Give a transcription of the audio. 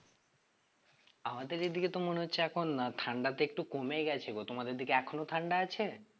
আমাদের এদিকে তো মনে হচ্ছে এখন না ঠান্ডা তো একটু কমে গেছে গো তোমাদের দিকে এখনো ঠান্ডা আছে?